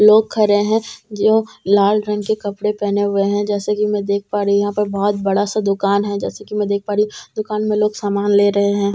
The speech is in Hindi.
लोग खड़े हैं जो लाल रंग के कपड़े पहने हुए हैं जैसे कि मैं देख पा रही यहां पर बहोत बड़ा सा दुकान है जैसे कि मैं देख पा रही दुकान में लोग सामान ले रहे हैं।